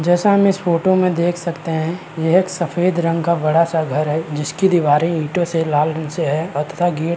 जैसा हम इस फोटो में देख सकते है। यह एक सफ़ेद रंग का बड़ा-सा घर है जिसकी दीवारे ईटों से लाल रंग से है गेट --